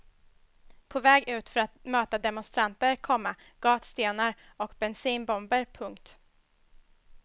På väg ut för att möta demonstranter, komma gatstenar och bensinbomber. punkt